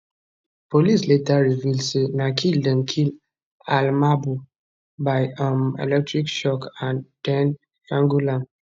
police later reveal say na kill dem kill almabhouh by um electric shock and den strangle am